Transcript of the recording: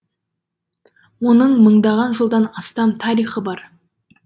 оның мыңдаған жылдан астам тарихы бар